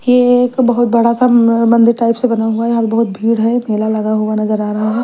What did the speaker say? ये एक बहुत बड़ा सा म मंदिर टाइप से बना हुआ है और बहुत भीड़ है मेला लगा हुआ नजर आ रहा है।